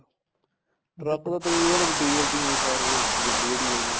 truck ਤਾਂ ਤਕਰੀਬਨ diesel ਤੇ ਸਾਰੇ ਗੱਡੀ ਜਿਹੜੀ ਹੈਗੀ